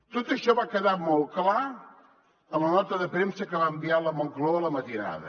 tot això va quedar molt clar en la nota de premsa que va enviar la moncloa a la matinada